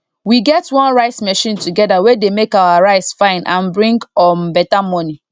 we get one rice machine together wey dey make our rice fine and bring um better money